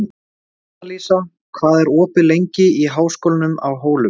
Annalísa, hvað er opið lengi í Háskólanum á Hólum?